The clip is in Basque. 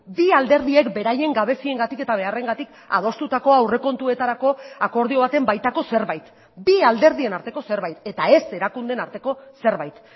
bi alderdiek beraien gabeziengatik eta beharrengatik adostutako aurrekontuetarako akordio baten baitako zerbait bi alderdien arteko zerbait eta ez erakundeen arteko zerbait